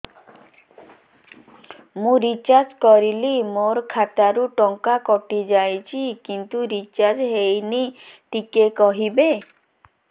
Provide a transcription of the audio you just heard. ମୁ ରିଚାର୍ଜ କରିଲି ମୋର ଖାତା ରୁ ଟଙ୍କା କଟି ଯାଇଛି କିନ୍ତୁ ରିଚାର୍ଜ ହେଇନି ଟିକେ କହିବେ